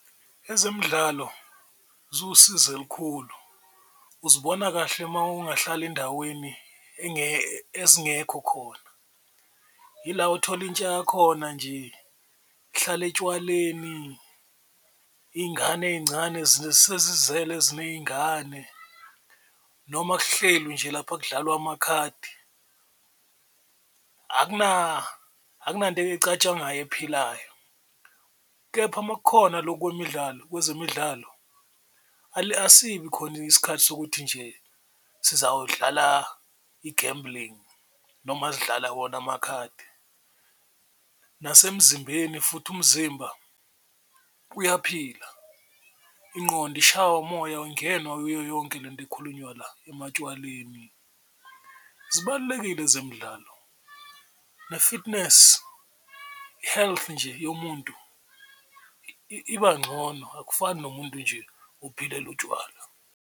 Ezemidlalo ziwusizo elikhulu uzibona kahle uma ungahlala endaweni ezingekho khona ila othola intsha yakhona nje ihlala etshwaleni, iy'ngane ey'ncane sezizele ziney'ngane noma kuhlelwi nje lapha kudlalwa amakhadi akunanto ecatshwangwayo ephilayo. Kepha uma kukhona loku kwemidlalo kwezemidlalo asibi khona isikhathi sokuthi nje sizawudlala i-gambling noma sidlala wona amakhadi, nasemzimbeni futhi umzimba uyaphila, ingqondo ishaywa umoya yiyo yonke lento ekhulunywa ematshwaleni. Zibalulekile zemidlalo ne-fitness health nje yomuntu iba ncono akufani nomuntu nje ophilela utshwala.